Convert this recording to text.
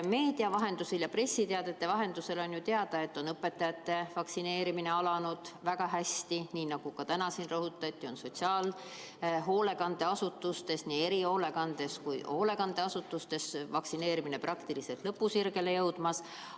Meedia ja pressiteadete vahendusel on teada, et õpetajate vaktsineerimine on alanud väga hästi, ja nagu täna siin rõhutati, on sotsiaalhoolekandeasutustes, sh erihoolekandeasutustes, vaktsineerimine praktiliselt lõpusirgele jõudmas.